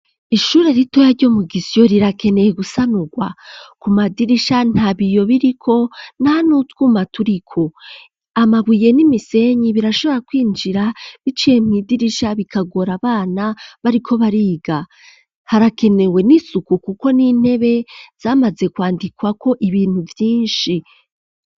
Ishure ritoya ryo mu Gisyo rirakeneye gusanurwa, ku madirisha nta biyo biriko nta n'utwuma turiko, amabuye n'imisenyi birashobora kwinjira biciye mw'idirisha bikagora abana bariko bariga ,harakenewe n'isuku kuko n'intebe zamaze kwandikwako ibintu vyinshi.